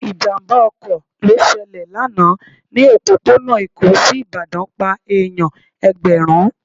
Ìjàmbá ọkọ̀ lọ ṣẹlẹ̀ lánàá ni òpópónà Èkó sí Ìbàdàn pá èèyàn Ẹ̀gbẹ̀rún.